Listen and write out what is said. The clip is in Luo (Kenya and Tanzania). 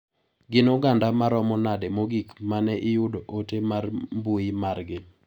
Gin oganda maromo nade mogik mane iyudo ote mar mbui mar gi.